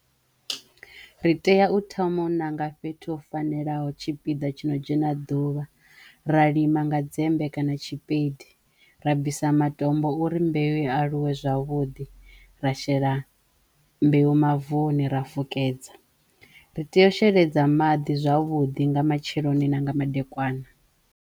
Ri teya u thoma u ṋanga fhethu ho fanelaho tshipiḓa tshino dzhena ḓuvha ra lima nga dzembe kana tshipeidi, ra bvisa matombo uri mbeu i aluwe zwavhuḓi, ra shela mbeu mavuni ra fukedza, ri teyo u sheledza maḓi zwavhuḓi nga matsheloni na nga madekwana.